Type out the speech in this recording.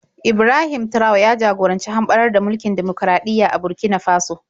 Ibrahim Traore ya jagoranci hamɓarar da mulkin dimokuraɗiyya a Burkina Faso.